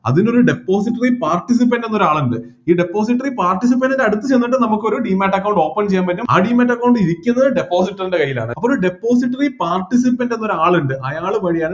അതിനൊരു depository participant എന്നൊരാളുണ്ട് ഈ depository participant ൻ്റെ അടുത്ത് ചെന്നിട്ട് നമുക്ക് ഒരു demate account open ചെയ്യാൻ പറ്റും ആ demate account ഇരിക്കുന്നത് depositor ൻ്റെ കൈയിലാണ് അപ്പോ ഒരു depository participant എന്നൊരാളുണ്ട് അയാള് വഴിയാണ്